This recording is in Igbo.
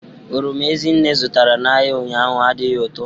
Oroma Ezinne zụtara n'ahịa ụnyahụ adịghị ụtọ.